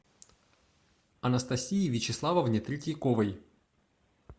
анастасии вячеславовне третьяковой